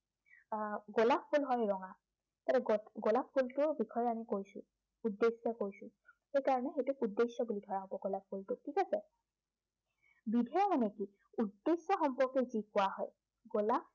আহ গোলাপ ফুল হয় ৰঙা। এইটো গোলাপ ফুলটোৰ বিষয়ে আমি কৈছো। উদ্দেশ্যে কৈছো। সেইটো কাৰনে সেইটোক উদ্দেশ্য বুলি কোৱা হব গোলাপ ফুলটোক, ঠিক আছে। বিধেয় মানে কি, উদ্দেশ্য় সম্পৰ্কে যি কোৱা হয়।